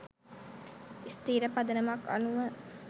ස්ථිර පදනමක් අනුව